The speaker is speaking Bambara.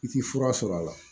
I ti fura sɔrɔ a la